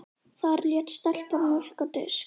Þar lét stelpan mjólk á disk.